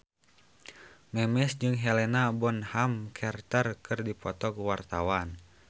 Memes jeung Helena Bonham Carter keur dipoto ku wartawan